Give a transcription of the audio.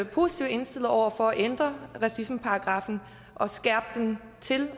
positivt indstillet over for at ændre racismeparagraffen og skære den til